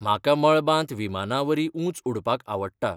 म्हाका मळबांत विमानावरीं उंच उडपाक आवडटा.